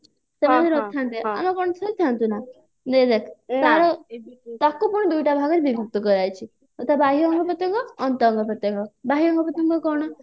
ସେମାନେ ନଥାନ୍ତେ ଆମେ ବଞ୍ଚି ଥାନ୍ତୁ ନା ଦେଖ ତାକୁ ପୁଣି ଦୁଇଟି ଭାଗରେ ବିଭକ୍ତ କରାଯାଇଛି ଆଉ ତା ବାହ୍ୟ ଅଙ୍ଗ ପ୍ରତ୍ୟଙ୍ଗ ଅନ୍ତ ଅଙ୍ଗ ପ୍ରତ୍ୟଙ୍ଗ ବାହ୍ୟ ଅଙ୍ଗ ପ୍ରତ୍ୟଙ୍ଗ କଣ